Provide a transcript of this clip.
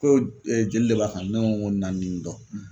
Ko ee jeli de b'a ka ne ko ko naani ni dɔ